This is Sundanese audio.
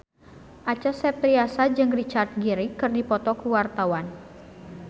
Acha Septriasa jeung Richard Gere keur dipoto ku wartawan